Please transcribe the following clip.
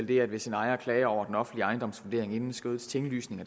der hvis en ejer klager over den offentlige ejendomsvurdering inden skødets tinglysning